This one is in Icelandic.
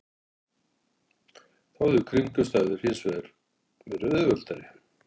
Þá höfðu kringumstæðurnar hins vegar verið auðveldari.